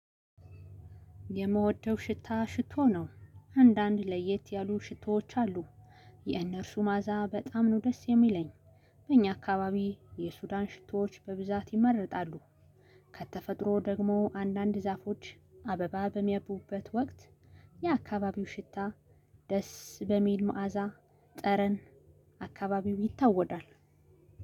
የምወደው ሽታ ሽቶ ነው አንዳንድ ለየት ያሉ ሽቶዎች አሉ። የእነርሱ ማኣዛ በጣም ነው ደስ የሚለኝ። በእኛ አካባቢ የሱዳን ሽቶዎች በብዛት ይመረጣሉ። ከተፈጥሮ ደግሞ አንዳንድ ዛፎች አበባ በሚያቡበት ወቅት። የአካባቢው ሽታ ደስ በሚል መዓዛ ጠረን አካባቢው ይታወዳል።